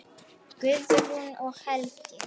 Guðrún og Helgi.